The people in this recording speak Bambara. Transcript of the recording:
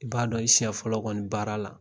I b'a dɔn i siɲɛ fɔlɔ kɔni baara la